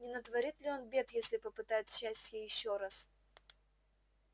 не натворит ли он бед если попытает счастья ещё раз